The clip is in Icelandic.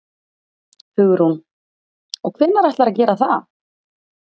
Hugrún: Og hvenær ætlarðu að gera það?